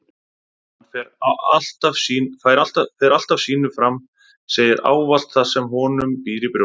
Hann fer alltaf sínu fram, segir ávallt það sem honum býr í brjósti